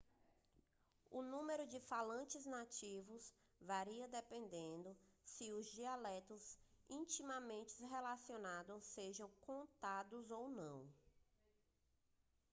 o número de falantes nativos varia dependendo se os dialetos intimamente relacionados sejam contados ou não